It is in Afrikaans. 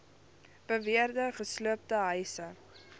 beweerde gesloopte huise